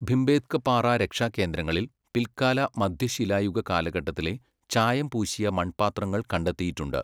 ഭിംബേത്ക പാറ രക്ഷാകേന്ദ്രങ്ങളിൽ പിൽക്കാല മധ്യശിലായുഗ കാലഘട്ടത്തിലെ ചായം പൂശിയ മൺപാത്രങ്ങൾ കണ്ടെത്തിയിട്ടുണ്ട്.